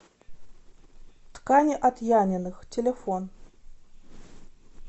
ткани от яниных телефон